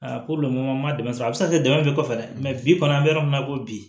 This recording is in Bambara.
Aa ko lamɔ ma dɛmɛ sɔrɔ a bɛ se ka kɛ dɛmɛ bɛ kɔfɛ dɛ bi kɔni an bɛ yɔrɔ min na i ko bi